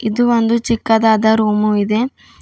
ಇದು ಒಂದು ಚಿಕ್ಕದಾದ ರೂಮು ಇದೆ.